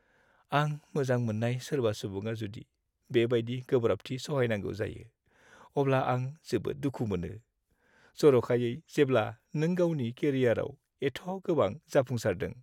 आं मोजां मोन्नाय सोरबा सुबुङा जुदि बेबायदि गोब्राबथि सहायनांगौ जायो, अब्ला आं जोबोद दुखु मोनो जरखायै जेब्ला नों गावनि केरियाराव एथ' गोबां जाफुंसारदों।